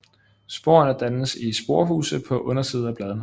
Sporerne dannes i sporehuse på undersiden af bladene